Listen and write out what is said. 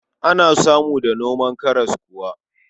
Ana samu da noman karas kuwa.